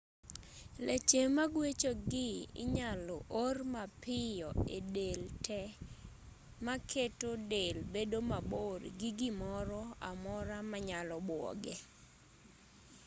leche maguechogi inyalo or mapiyo e del te maketo del bedo mabor gi gimoro amora manyalo buoge